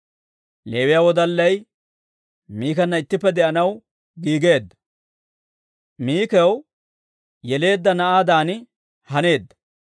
Leewiyaa wodallay Mikana ittippe de'anaw giigeedda; Mikaw yeleedda na'aadan haneedda.